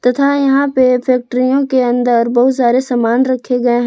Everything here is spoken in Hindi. तथा यहां पे फैक्ट्रियों के अंदर बहुत सारे सामान रखे गए हैं।